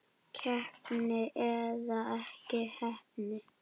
Heppni eða ekki heppni?